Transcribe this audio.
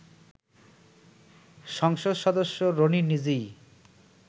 সংসদ সদস্য রনি নিজেই